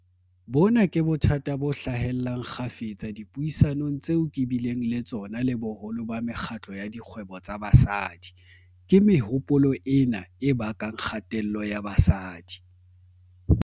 Bona ke bothata bo hlahellang kgafetsa dipuisanong tseo ke bileng le tsona le boholo ba mekgatlo ya dikgwebo tsa basadi. Ke mehopolo ena e bakang kgatello ya basadi.